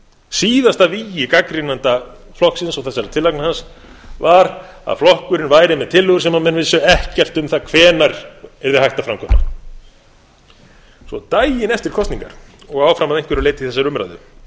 síðasta vígi gagnrýnenda flokksins og þessara tillagna hans var að flokkurinn væru með tillögur sem menn vissu ekkert um það hvenær yrði hægt að framkvæma svo daginn eftir kosningar og áfram að einhverju leyti í þessari umræðu